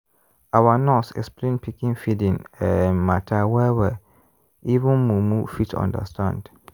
our nurse explain pikin feeding um matter well-well even mumu fit understand.